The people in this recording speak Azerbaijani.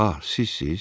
Ah, sizsiz?